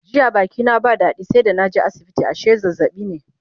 jiya Baki na ba dadi sai da naje asibiti ashe zazzaɓi ne